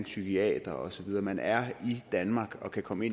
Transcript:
psykiater og så videre for man er i danmark og kan komme